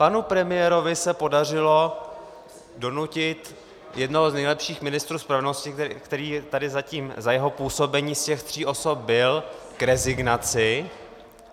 Panu premiérovi se podařilo donutit jednoho z nejlepších ministrů spravedlnosti, který tady zatím za jeho působení z těch tří osob byl, k rezignaci.